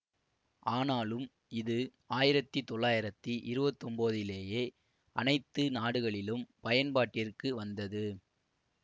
ஆனாலும் இது ஆயிரத்தி தொள்ளாயிரத்தி இருபத்தி ஒன்போதிலேயே அனைத்து நாடுகளிலும் பயன்பாட்டிற்கு வந்தது